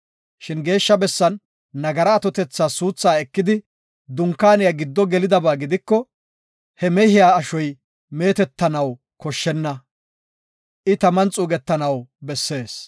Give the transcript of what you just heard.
Shin Geeshsha bessan nagara atotethas suuthaa ekidi Dunkaaniya giddo gelidaba gidiko he mehiya ashoy meetetanaw koshshenna; I taman xuugetanaw bessees.”